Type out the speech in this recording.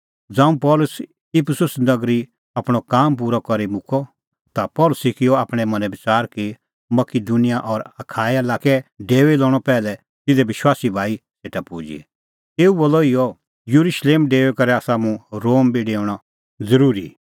ज़ांऊं पल़सी इफिसुस नगरी आपणअ काम पूरअ करी मुक्कअ ता पल़सी किअ आपणैं मनैं बच़ार कि मकिदुनिया और अखाया लाक्कै डेऊई लणअ पैहलै तिधे विश्वासी भाई सेटा पुजी तेऊ बोलअ इहअ येरुशलेम डेऊई करै आसा मुंह रोम बी डेऊणअ ज़रूरी